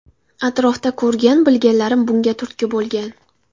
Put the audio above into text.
Atrofda ko‘rgan-bilganlarim bunga turtki bo‘lgan.